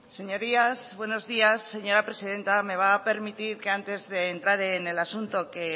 señorías buenos días señora presidenta me va a permitir que antes de entrar en el asunto que